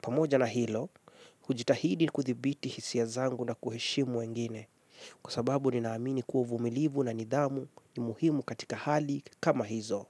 Pamoja na hilo, hujitahidi kuthibiti hisia zangu na kuheshimu wengine, kwasababu ni naamini kua uvumilivu na nidhamu ni muhimu katika hali kama hizo.